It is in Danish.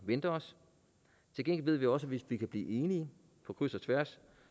venter os til gengæld ved vi også at hvis vi kan blive enige på kryds og tværs